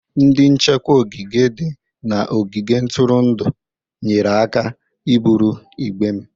Ndị nchekwa ogige dị n'ogige ntụrụndụ nyere aka iburu igbe m.